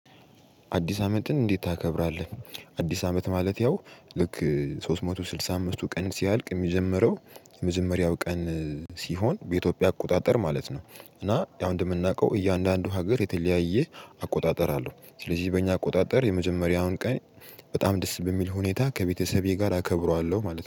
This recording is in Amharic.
አዲስ አመትን እንዴት ታከብራለህ? አዲስ አመት ማለት ያው ልክ ሶስት መቶ ስድሳ አምስት ሶስት መቶ ስድሳ አምስትቱ ቀን ሲያልቅ ሚጀምረው የመጀመሪያው ቀን ሲሆን በኢትዮጵያ አቆጣጠር ማለት ነው። እና ያው እንደምናውቀው እያንዳንዱ ሀገር የተለያየ አቆጣጠር አለው። ስለዚህ በእኛ አቆጣጠር የመጀመሪያውን ቀን በጣም ደስ በሚል ሁኔታ ከቤተሰቤ ጋር አከብረዋለሁ ማለት ነው